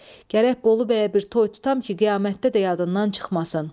Gərək Bolu bəyə bir toy tutam ki, qiyamətdə də yadından çıxmasın!